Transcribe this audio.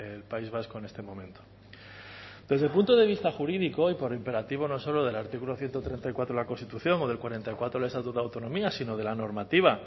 el país vasco en este momento desde el punto de vista jurídico y por imperativo no solo del artículo ciento treinta y cuatro de la constitución o del cuarenta y cuatro del estatuto de autonomía sino de la normativa